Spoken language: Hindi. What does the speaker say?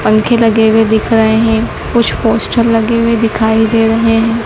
पंखे लगे हुए दिख रहे हैं कुछ पोस्टर लगे हुए दिखाई दे रहे हैं।